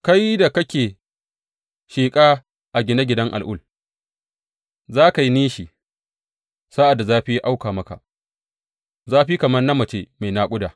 kai da kake sheƙa a gine ginen al’ul za ka yi nishi sa’ad da zafi ya auka maka, zafi kamar na mace mai naƙuda!